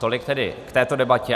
Tolik tedy k této debatě.